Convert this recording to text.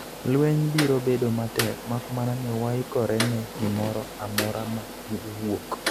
lweny biro bedo matek makmana ni waikore ne gimoro amora ma owuok